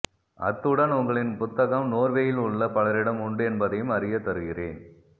அத்துடன் உங்களின் புத்தகம் நோர்வேயில் உள்ள பலரிடம் உண்டு என்பதையும் அறியத்தருகிறேன்